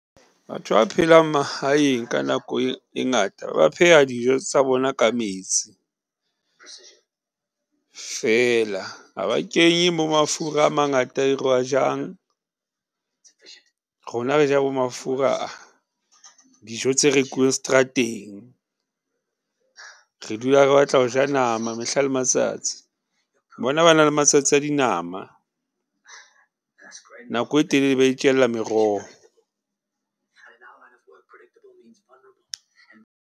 Batho ba phelang mahaeng ka nako e ngata, ba pheha dijo tsa bona ka metsi feela. Ha ba kenye bo mafura a mangata e re wa jang. Rona re ja bo mafura, dijo tse rekuweng strateng. Re dula re batla ho ja nama mehla le matsatsi. Bona ba na le matsatsi a dinama nako e telele ba itjella meroho.